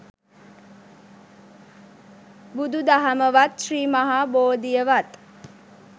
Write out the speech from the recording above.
බුදු දහමවත් ශ්‍රී මහා බෝධියවත්